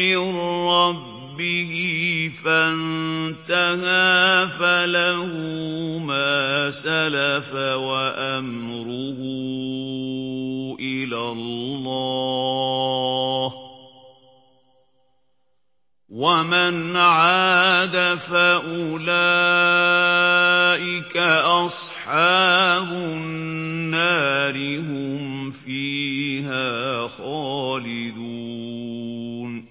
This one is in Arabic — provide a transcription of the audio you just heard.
مِّن رَّبِّهِ فَانتَهَىٰ فَلَهُ مَا سَلَفَ وَأَمْرُهُ إِلَى اللَّهِ ۖ وَمَنْ عَادَ فَأُولَٰئِكَ أَصْحَابُ النَّارِ ۖ هُمْ فِيهَا خَالِدُونَ